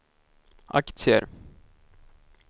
aktier